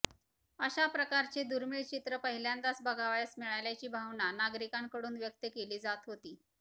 अशा प्रकारचे दुर्मिळ चित्र पहिल्यांदाच बघावयास मिळाल्याची भावना नागरिकांकडून व्यक्त केली जात होती